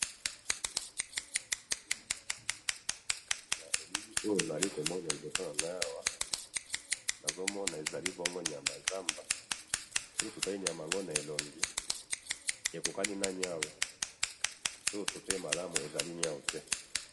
na bilili oyo nazali komona na liboso nangai awa, nazomona ezali bongo nyama ya nzamba, soki totali nyama yango na elongi ekokangi na niawu, soki totali malamu ezali niawu te